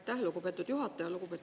Aitäh, lugupeetud juhataja!